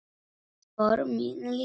Spor mín létt.